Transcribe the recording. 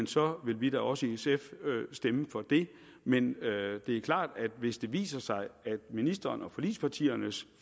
så vil vi da også i sf stemme for det men det er klart at hvis det viser sig at ministeren og forligspartiernes